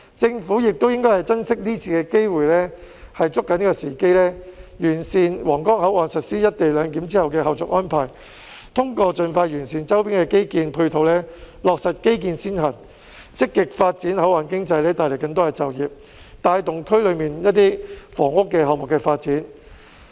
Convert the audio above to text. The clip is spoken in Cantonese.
政府亦應該珍惜今次機會，抓緊時機，完善皇崗口岸實施"一地兩檢"後的後續安排；通過盡快完善周邊的基建配套，落實基建先行；積極發展口岸經濟，帶來更多就業，帶動區內一些房屋項目的發展。